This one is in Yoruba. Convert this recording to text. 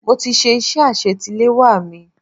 Mo ti ṣe iṣẹ́ àsetiléwá mi.